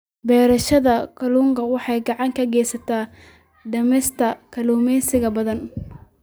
Beerashada kalluunku waxay gacan ka geysataa dhimista kalluumeysiga badda.